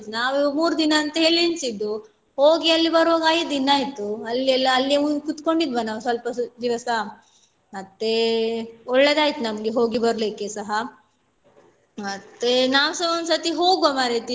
ನಾವ್ ಮೂರೂ ದಿನ ಅಂತ ಹೇಳಿ ಎಣಿಸಿದ್ದು ಹೋಗಿ ಅಲ್ಲಿ ಬರುವಾಗ ಐದು ದಿನ ಆಯ್ತು ಅಲ್ಲಿ ಎಲ್ಲ ಅಲ್ಲಿ ಹೋಗಿ ಕೂತ್ಕೊಂಡಿದ್ವಿ ನಾವ್ ಸ್ವಲ್ಪ ದಿವಸ ಮತ್ತೆ ಒಳ್ಳೆದಾಯ್ತು ನಮ್ಗೆ ಹೋಗಿ ಬರ್ಲಿಕ್ಕೆಸಹ ಮತ್ತೆ ನಾವ್ಸ ಒಂದ್ ಸರ್ತಿ ಹೋಗುವ ಮಾರೈತಿ.